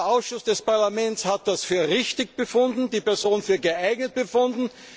Der Ausschuss des Parlaments hat das für richtig und die Person für geeignet befunden.